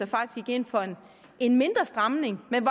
faktisk gik ind for en mindre stramning men